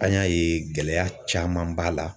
An y'a ye gɛlɛya caman b'a la.